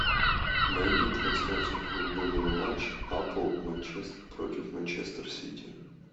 найди трансляцию футбольного матча апл манчестер против манчестер сити